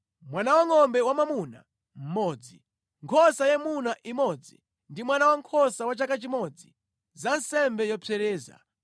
mwana wangʼombe wamwamuna mmodzi, nkhosa yayimuna imodzi ndi mwana wankhosa wa chaka chimodzi, za nsembe yopsereza;